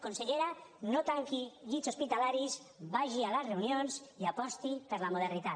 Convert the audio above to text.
consellera no tanqui llits hospitalaris vagi a les reunions i aposti per la modernitat